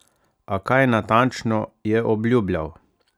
A kaj natančno je obljubljal?